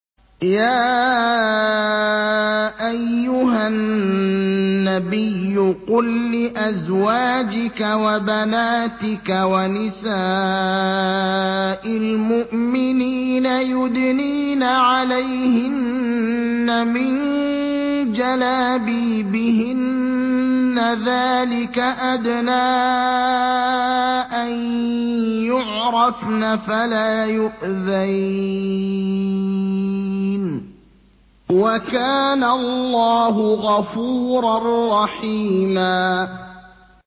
يَا أَيُّهَا النَّبِيُّ قُل لِّأَزْوَاجِكَ وَبَنَاتِكَ وَنِسَاءِ الْمُؤْمِنِينَ يُدْنِينَ عَلَيْهِنَّ مِن جَلَابِيبِهِنَّ ۚ ذَٰلِكَ أَدْنَىٰ أَن يُعْرَفْنَ فَلَا يُؤْذَيْنَ ۗ وَكَانَ اللَّهُ غَفُورًا رَّحِيمًا